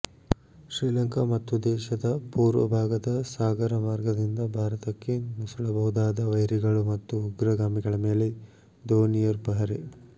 ಶ್ರೀಲಂಕಾ ಮತ್ತು ದೇಶದ ಪೂರ್ವ ಭಾಗದ ಸಾಗರ ಮಾರ್ಗದಿಂದ ಭಾರತಕ್ಕೆ ನುಸುಳಬಹುದಾದ ವೈರಿಗಳು ಮತ್ತು ಉಗ್ರಗಾಮಿಗಳ ಮೇಲೆ ದೋನಿಯರ್ ಪಹರೆ